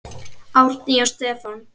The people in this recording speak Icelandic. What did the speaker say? Árný og Stefán.